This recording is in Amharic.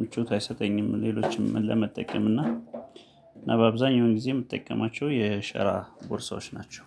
ምቹት አይሰጠኝም ሌሎችም ለመጠቀም እና በአብዛኛው ጊዜ የምትጠቀማቸው የሸራ ቦርሳዎች ናቸው።